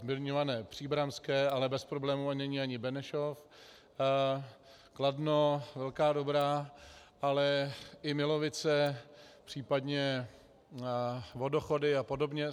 Zmiňované příbramské, ale bez problémů není ani Benešov, Kladno, Velká Dobrá, ale i Milovice, případně Vodochody a podobně.